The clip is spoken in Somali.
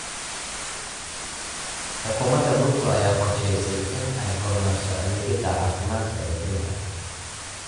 Xukuumadda Ruto ayaa qorshaysay in ay horumariso adeegyada caafimaadka ee dalka.